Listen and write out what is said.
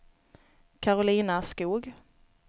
Karolina Skog